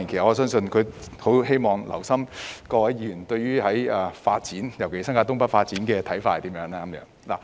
我相信他是希望留心聽取各議員對於發展，尤其新界東北發展的看法。